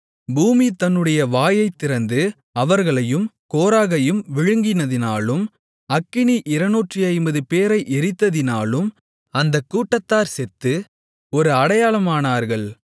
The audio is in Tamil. பூமி தன்னுடைய வாயைத் திறந்து அவர்களையும் கோராகையும் விழுங்கினதினாலும் அக்கினி 250 பேரை எரித்ததினாலும் அந்தக் கூட்டத்தார் செத்து ஒரு அடையாளமானார்கள்